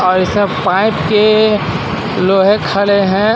और यह सब पाइप के लोहे खड़े हैं.